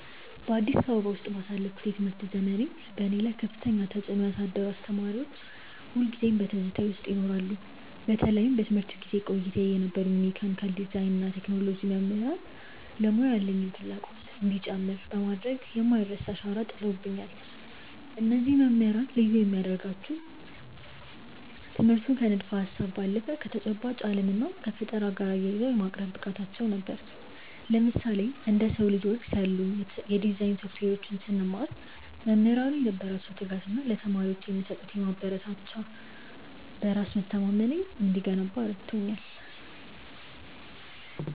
በአዲስ አበባ ውስጥ ባሳለፍኩት የትምህርት ዘመኔ፣ በእኔ ላይ ከፍተኛ ተጽዕኖ ያሳደሩ አስተማሪዎች ሁልጊዜም በትዝታዬ ውስጥ ይኖራሉ። በተለይም በትምህርት ቤት ቆይታዬ የነበሩኝ የመካኒካል ዲዛይን እና የቴክኖሎጂ መምህራን ለሙያው ያለኝን ፍላጎት እንዲጨምር በማድረግ የማይረሳ አሻራ ጥለውብኛል። እነዚህ መምህራን ልዩ የሚያደርጋቸው ትምህርቱን ከንድፈ-ሀሳብ ባለፈ ከተጨባጭ ዓለም እና ከፈጠራ ጋር አያይዘው የማቅረብ ብቃታቸው ነበር። ለምሳሌ፣ እንደ SOLIDWORKS ያሉ የዲዛይን ሶፍትዌሮችን ስንማር፣ መምህራኑ የነበራቸው ትጋት እና ለተማሪዎች የሚሰጡት ማበረታቻ በራስ መተማመኔ እንዲገነባ ረድቶኛል።